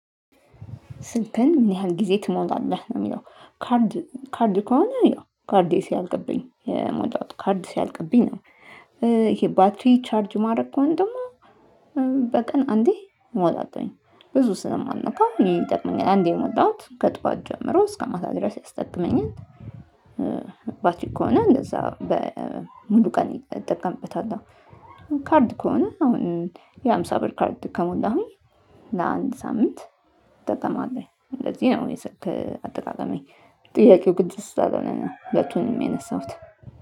ስልክህን ምን ያህል ጊዜ ትሞላለህ? የሚለው ካርድ ካርድ ከሆነ ያው ካርዴ ሲያልቅብኝ የሞላሁት ካርድ ሲያልቅብኝ ነው ይሄ ባትሪ ቻርጅ ማድረግ ከሆነ ደግሞ በቀን አንዴ ሞላለውኝ ብዙ ስለማነካው ይጠቅመኛል አንዴ የሞላሁት ከጧት ጀምሮ እስከማታ ድረስ ያስጠቅመኛል። ባትሪ ከሆነ እንደዛ በሙሉ ቀን እጠቀምበታለሁ። ካርድ ከሆነ የሃምሳ ብር ካርድ ከሞላሁኝ ለአንድ ሳምንት ይጠቅማል። እንደዚህ ነው እኔ ስልክ አጠቃቀሜ። ጥያቄው ግልጽ ስላልሆነ ሁለቱንም የነሳሁት።